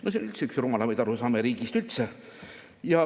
No see on üldse üks rumalamaid arusaamasid riigist üldse.